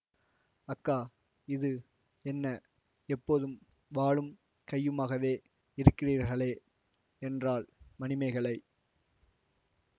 அக்கா இது என்ன எப்போதும் வாளும் கையுமாகவே இருக்கிறீர்களே என்றாள் மணிமேகலை